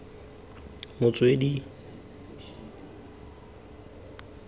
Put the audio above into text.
motswedi k g r tlhokomelo